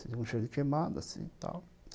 Senti um cheiro de queimado, assim, tal.